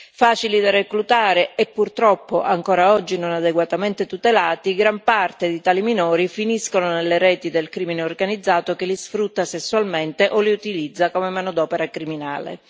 Facili da reclutare e purtroppo ancora oggi non adeguatamente tutelati, gran parte di tali minori finiscono nelle reti del crimine organizzato che li sfrutta sessualmente o li utilizza come manodopera criminale.